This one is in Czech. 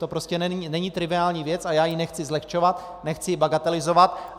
To prostě není triviální věc a já ji nechci zlehčovat, nechci ji bagatelizovat.